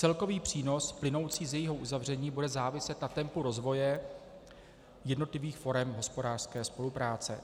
Celkový přínos plynoucí z jejího uzavření bude záviset na tempu rozvoje jednotlivých forem hospodářské spolupráce.